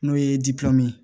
N'o ye ye